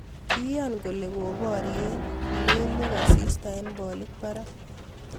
Kiyaan kolee koparie lelwek asista eng polik parak